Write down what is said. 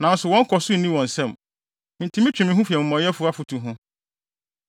Nanso wɔn nkɔso no nni wɔn nsam, enti metwe me ho fi amumɔyɛfo afotu ho.